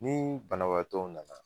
Ni banabaatɔw nana